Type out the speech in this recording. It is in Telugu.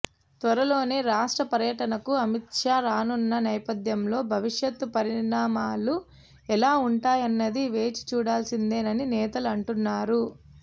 త్వరలోనే రాష్ట్ర పర్యటనకు అమిత్షా రానున్న నేపథ్యంలో భవిష్యత్ పరిణామాలు ఎలా ఉంటాయన్నది వేచి చూడాల్సిందేనని నేతలు అంటున్నారు